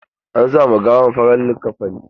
An sa ma gawan farar liƙafani.